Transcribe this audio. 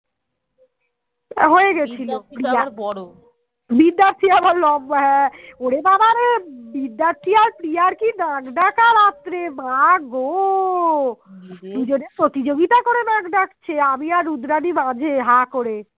দুজনে প্রতিযোগিতা করে নাক ডাকছে আমি আর রুদ্রাণী মাঝে হা করে